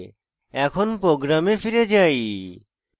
এখন program ফিরে যাই